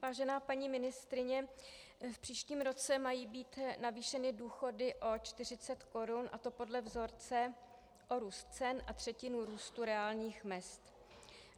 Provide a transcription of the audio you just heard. Vážená paní ministryně, v příštím roce mají být navýšeny důchody o 40 korun, a to podle vzorce o růst cen a třetinu růstu reálných mezd.